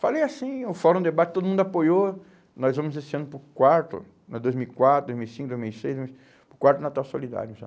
Falei assim, o Fórum Debate, todo mundo apoiou, nós vamos esse ano para o quarto, né, dois mil e quatro, dois mil e cinco, dois mil e seis, nós, para o quarto Natal Solidário já.